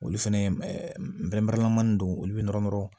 Olu fɛnɛ mani don olu bɛ nɔrɔ nɔrɔ